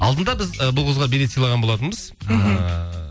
алдында біз ы бұл қызға билет сыйлаған болатынбыз мхм ыыы